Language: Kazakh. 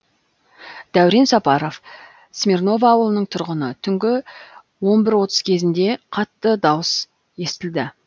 дәурен сапаров смирново ауылының тұрғыны түнгі он бір отыз кезінде қатты дауыс естілді